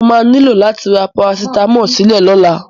Mo máa ní lò láti ra Parasitámọ̀ sílé lọ́la.